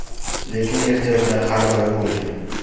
Lekin ehtiyojlar har doim bo‘lgan.